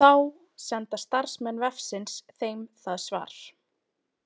Þá senda starfsmenn vefsins þeim það svar.